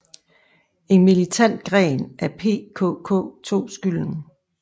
En militant gren af PKK tog skylden